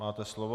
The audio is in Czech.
Máte slovo.